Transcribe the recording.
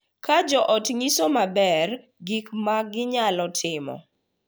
Ka jo ot nyiso maler gik ma ginyalo timo,